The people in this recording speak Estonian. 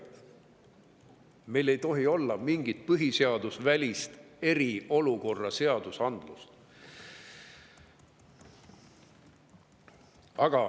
Meil ei tohi olla mingit põhiseadusevälist eriolukorra seadusandlust.